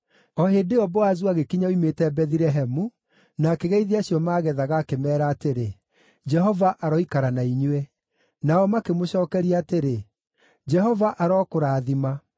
O hĩndĩ ĩyo Boazu agĩkinya oimĩte Bethilehemu, na akĩgeithia acio maagethaga, akĩmeera atĩrĩ, “Jehova aroikara na inyuĩ!” Nao makĩmũcookeria atĩrĩ, “Jehova arokũrathima!”